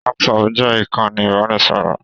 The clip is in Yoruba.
WhatsApp jẹ ìkànnì ibanisọrọ.